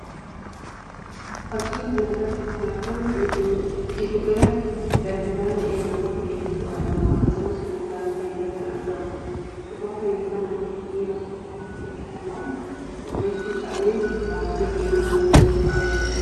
Fakkii kana irratti kan argamu giddu gala daldalaa ta'ee namoota hedduutu argama. Akkasumas konkolaataan illee kan argamuudha. Suuraa kana irraa namni dhiiraa tokko lukkuuwwan walitti qabee baatee deemaa akka jiru agarsiisa.